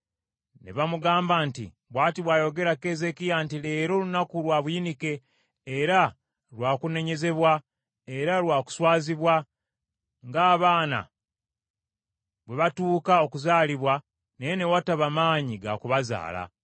Ne bamugamba nti, “Bw’ati bw’ayogera Keezeekiya nti Leero lunaku lwa buyinike, era lwa kunenyezebwa, era lwa kuswazibwa, ng’abaana bwe batuuka okuzaalibwa, naye ne wataba maanyi ga ku bazaala.